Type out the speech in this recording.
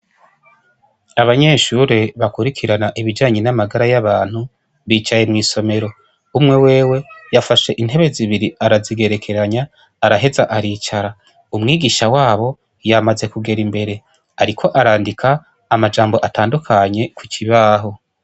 Abanyeshure bakurikirana ibijanye n'amagara y'abantu bicaye mw'isomero. Umwe wewe yafashe intebe zibiri arazigerekeranya, araheza aricara. Umwigisha wabo yamaze kugera imbere, ariko arandika amajambo atandukanye ku kibaho.